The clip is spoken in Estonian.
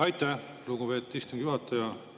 Aitäh, lugupeetud istungi juhataja!